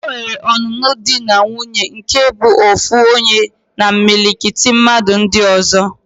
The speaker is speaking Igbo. Enwere ọnụnụ di na nwuńye nke bụ ofu onye na imilikiti mmadu ndi ozo